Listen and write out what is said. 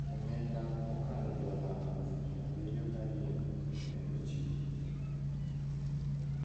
omenda mokalo dola 72,000 ne ochiw.